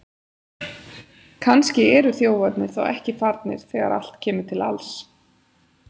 Kannski eru þjófarnir þá ekki farnir þegar allt kemur til alls!